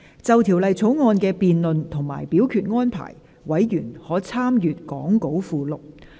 就條例草案的辯論及表決安排，委員可參閱講稿附錄。